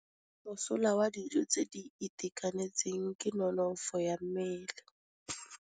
Mosola wa dijô tse di itekanetseng ke nonôfô ya mmele.